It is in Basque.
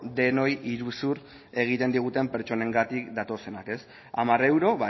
denoi iruzur egiten diguten pertsonengatik datozenak hamar euro